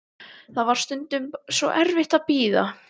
Það var bara stundum svo erfitt að bíða.